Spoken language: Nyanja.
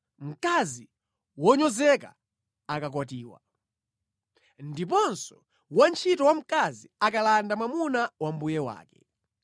mkazi wonyozeka akakwatiwa ndiponso wantchito wamkazi akalanda mwamuna wa mbuye wake.